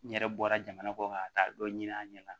N yɛrɛ bɔra jamana kɔ kan ŋa taa dɔ ɲini a ɲɛna